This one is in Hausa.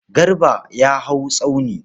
Garba ya hau tsauni.